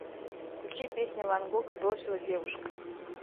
включи песня ван гога бросила девушка